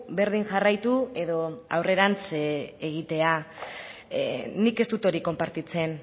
berdin jarraitu edo aurrerantz egitea nik ez dut hori konpartitzen